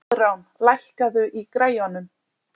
Koðrán, lækkaðu í græjunum.